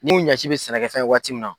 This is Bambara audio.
N'u ɲɛci bɛ sɛnɛkɛfɛn ye waati mun na.